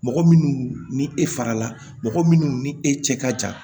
Mɔgɔ minnu ni e farala mɔgɔ minnu ni e cɛ ka jan